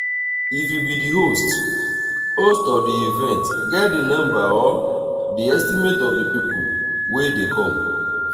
if you be di host host of the event get the number or the estimate of di people wey dey come